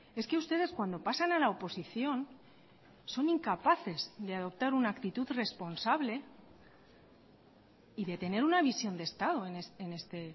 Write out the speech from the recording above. es que ustedes cuando pasan a la oposición son incapaces de adoptar una actitud responsable y de tener una visión de estado en este